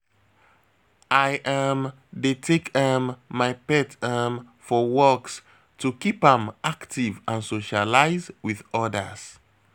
I um dey take um my pet um for walks to keep am active and socialize with others.